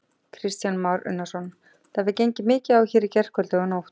Kristján Már Unnarsson: Það hefur gengið á mikið hérna í gærkvöldi og í nótt?